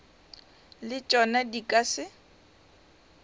le tšona di ka se